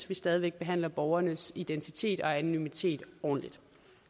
vi stadig væk behandler borgernes identitet og anonymitet ordentligt